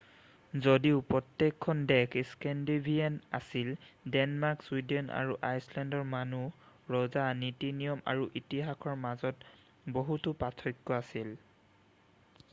যদিও প্ৰত্যেকখন দেশ স্কেনদীভেনিয়ান' আছিল ডেনমাৰ্ক ছুইডেন আৰু আইচলেণ্ডৰ মানুহ ৰজা নীতি-নিয়ম আৰু ইতিহাসৰ মাজত বহুতো পাৰ্থক্য আছিল